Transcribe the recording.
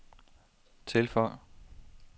tilføj